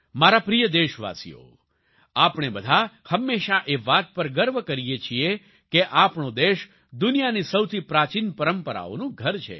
મારા પ્રિય દેશવાસીઓ આપણે બધા હંમેશા એ વાત પર ગર્વ કરીએ છીએ કે આપણો દેશ દુનિયાની સૌથી પ્રાચિન પરંપરાઓનું ઘર છે